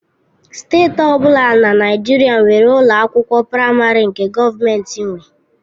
Steeti ọ bụla na Naịjirịa nwere ụlọ akwụkwọ praịmarị nke gọọmentị nwe.